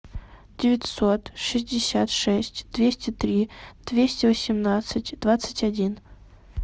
девятьсот шестьдесят шесть двести три двести восемнадцать двадцать один